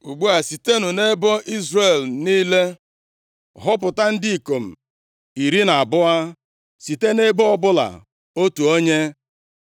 Ugbu a sitenụ nʼebo Izrel niile họpụta ndị ikom iri na abụọ, site nʼebo ọbụla otu onye.